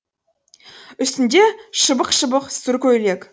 үстінде шыбық шыбық сұр көйлек